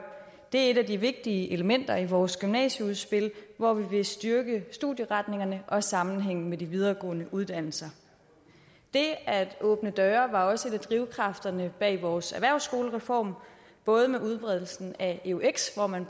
det er et af de vigtige elementer i vores gymnasieudspil hvor vi vil styrke studieretningerne og sammenhængen med de videregående uddannelser det at åbne døre var også en af drivkræfterne bag vores erhvervsskolereform både med udbredelsen af eux hvor man